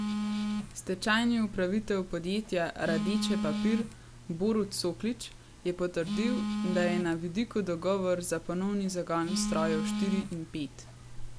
Stečajni upravitelj podjetja Radeče papir Borut Soklič je potrdil, da je na vidiku dogovor za ponovni zagon strojev štiri in pet.